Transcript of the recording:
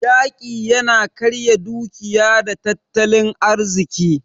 Yaƙi yana karya dukiya da tattalin arziki.